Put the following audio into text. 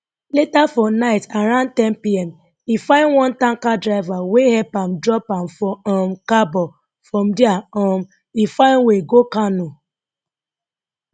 later for night around 1000pm e find one tanker driver wey help am drop am for um kabo from dia um e find way go kano